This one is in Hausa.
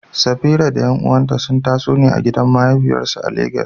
Safira da ƴan’uwanta sun taso ne a gidan mahafiyarsu a Legas.